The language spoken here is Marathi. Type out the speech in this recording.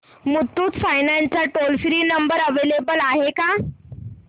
मुथूट फायनान्स चा टोल फ्री नंबर अवेलेबल आहे का